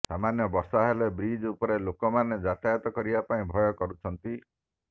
ସାମାନ୍ୟ ବର୍ଷା ହେଲେ ବ୍ରିଜ୍ ଉପରେ ଲୋକ ମାନେ ଯାତାୟତ କରିବା ପାଇଁ ଭୟ କରୁଛନ୍ତି